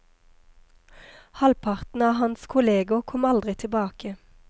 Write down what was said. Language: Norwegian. Halvparten av hans kolleger kom aldri tilbake.